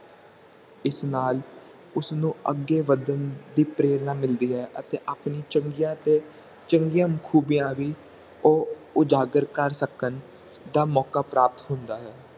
ਇਸ ਨਾਲ ਉਸ ਨੂੰ ਅੱਗੇ ਵਧਣ ਦੀ ਪ੍ਰੇਰਨਾ ਮਿਲਦੀ ਹੈ ਅਤੇ ਆਪਣੀ ਚੰਗੀਆਂ ਤੋਂ ਚੰਗੀਆਂ ਖੂਬੀਆਂ ਵੀ ਉਹ ਉਜਾਗਰ ਕਰ ਸਕਣ ਦਾ ਮੌਕਾ ਪ੍ਰਾਪਤ ਹੁੰਦਾ ਹੈ